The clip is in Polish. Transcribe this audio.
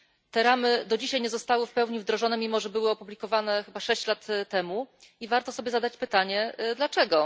Te ramy do dzisiaj nie zostały w pełni wdrożone, mimo że zostały opublikowane chyba sześć lat temu, i warto sobie zadać pytanie dlaczego.